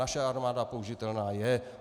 Naše armáda použitelná je.